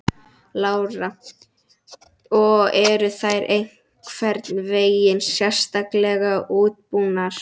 Lára: Og eru þær einhvern veginn sérstaklega útbúnar?